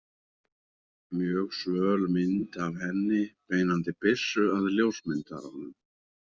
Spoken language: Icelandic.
Mjög svöl mynd af henni beinandi byssu að ljósmyndaranum.